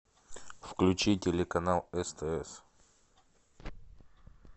включи телеканал стс